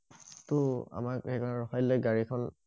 তহ আমাৰ সেইকনত ৰখাই দিলে গাড়ী খন